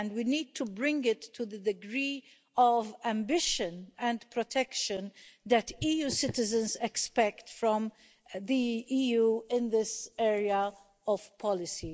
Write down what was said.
We need to bring it to the degree of ambition and protection that EU citizens expect from the EU in this area of policy.